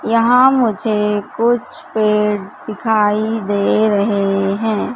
यहां मुझे कुछ पेड़ दिखाई दे रहे हैं।